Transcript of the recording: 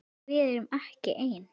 Við erum ekki ein.